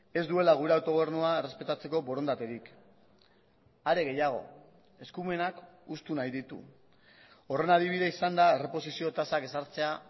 ez duela gure autogobernua errespetatzeko borondaterik are gehiago eskumenak hustu nahi ditu horren adibide izan da erreposizio tasak ezartzea